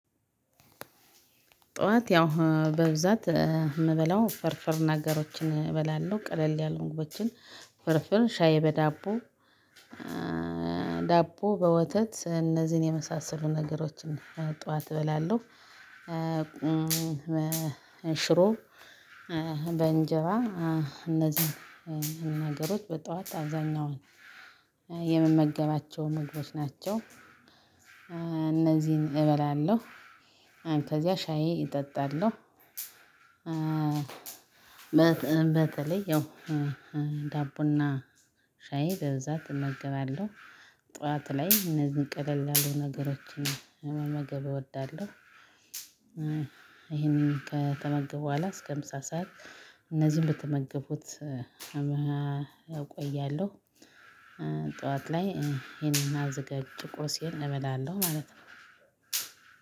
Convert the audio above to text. ጠዋት ያው በብዛት የምበላው ፍርፍር ነገሮችን እበላለሁ ቀለል ያሉ ምግቦችን ፍርፍር ሻይ በዳቦ ዳቦ በወተት እነዚህን የመሳሰሉ ነገሮችን ጠዋት እበላለሁ። ሽሮ በእንጀራ እነዚህን ነገሮች በጧት አብዛኛውን የምመገባቸው ምግቦች ናቸው። እነዚህን እበላለሁ ከዚያ ሻዬ እጠጣለሁ። በተለይ ያው ዳቦና ሻይ በዛ እመገባለሁ ጠዋት ላይ እነዚህን ቀለል ያሉ ነገሮችን መመገብ እወዳለሁ። ይሄንን ከተመገብኩ በኋላ እስከ ምሳ ሰዓት እነዚህን ብትመገብኩት እቆያለሁ። ጠዋት ላይ ይሄንን አዘጋጅቼ ቁርሴን እበላለሁ ማለት ነው።